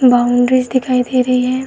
Boundaries दिखाई दे रही है।